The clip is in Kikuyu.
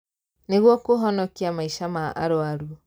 Nĩguo kũhonokia maica ma arũaru